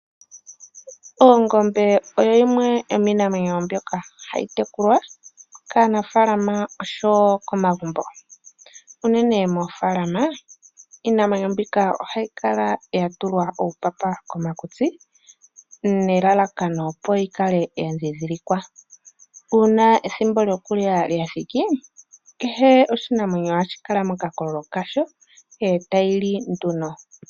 Ongombe oyo yimwe yomiinamwenyo mbyoka hayi tekulwa kaanafalama osho wo momagumbo. Unene moofaalama, iinamwenyo mbika ohayi kala ya tulwa uupapa komakutsi nelalakano yi kale ya dhindhilikwa. Uuna ethimbo lyokulya lya thika, kehe oshinamwenyo ohashi kala mokakololo kasho e tayi li nduno.